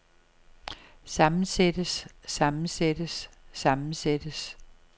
sammensættes sammensættes sammensættes